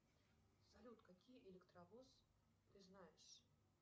салют какие электровоз ты знаешь